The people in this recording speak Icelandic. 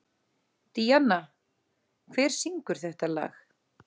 Díanna, hver syngur þetta lag?